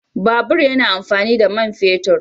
Babur yana amfani da man fetur